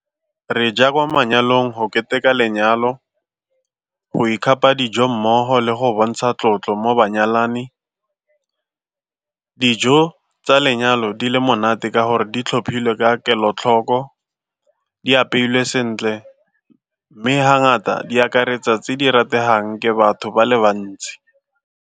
Re ja kwa manyalong go keteka lenyalo, go ikgapa dijo mmogo le go bontsha tlotlo mo banyalani. Dijo tsa lenyalo di le monate ka gore di tlhophilwe ka kelotlhoko, di apeilwe sentle mme ha ngata di akaretsa tse di rategang ke batho ba le bantsi.